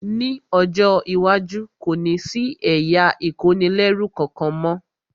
Ní ọjọ́ iwájú, kò ní sí ẹ̀yà ìkónilẹ́rú kankan mọ́